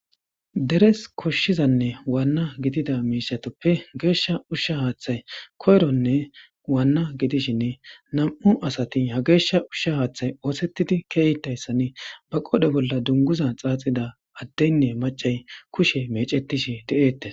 Deres koshshizanne waanna gidida miishatoppe geeshsha ushsha haaththay koyronne waanna gidishinne nam7u asati ha geeshsha ushsha haaththay oosettidi keeytayssani ba qodhe bolla dunguza xaaxida addeynne macay kushe mecetishi de'eette.